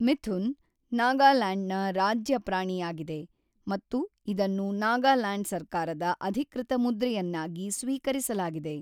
ಮಿಥುನ್, ನಾಗಾಲ್ಯಾಂಡ್‌ನ ರಾಜ್ಯ ಪ್ರಾಣಿಯಾಗಿದೆ ಮತ್ತು ಇದನ್ನು ನಾಗಾಲ್ಯಾಂಡ್ ಸರ್ಕಾರದ ಅಧಿಕೃತ ಮುದ್ರೆಯನ್ನಾಗಿ ಸ್ವೀಕರಿಸಲಾಗಿದೆ.